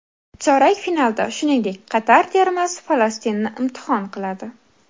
Chorak finalda, shuningdek, Qatar termasi Falastinni imtihon qiladi.